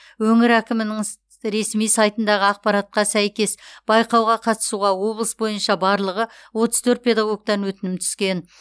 өңір әкімінің ресми сайтындағы ақпаратқа сәйкес байқауға қатысуға облыс бойынша барлығы отыз төрт педагогтан өтінім түскен